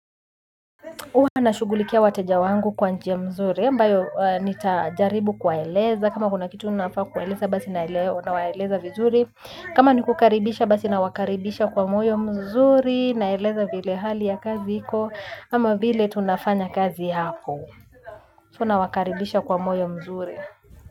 Uwa nashugulikia wateja wangu kwa njia mzuri, ambayo nitajaribu kuwaeleza, kama kuna kitu unafaa kuwaeleza, basi na elea nawaeleza vizuri. Kama ni kukaribisha basi nawakaribisha kwa moyo mzuri, naeleza vile hali ya kazi iko, ama vile tunafanya kazi hapo So nawakaribisha kwa moyo mzuri.